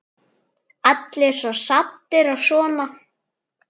Allir svo saddir og svona.